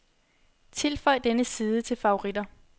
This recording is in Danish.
Tilføj denne side til favoritter.